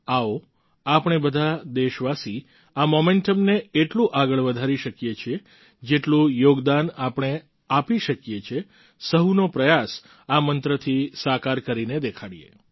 આવો આપણે બધા દેશવાસી આ મોમેન્ટમ ને એટલું આગળ વધારી શકીએ છીએ જેટલું યોગદાન આપણે આપી શકીએ છીએ સહુનો પ્રયાસ આ મંત્રથી સાકાર કરીને દેખાડીએ